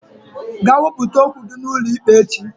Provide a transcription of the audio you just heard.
Gaa wepụta okwu gị n'ụlọikpe echi!